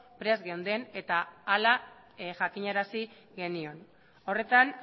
prest geunden eta hala jakinarazi genion horretan